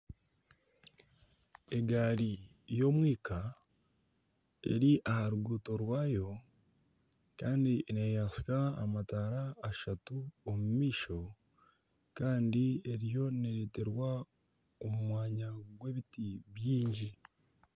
Egaari y'omwika eri aha rukuuto rwaayo kandi neyasya amataara ashatu omu maisho kandi eriyo nereterwa omu mwanya gw'ebiti biingi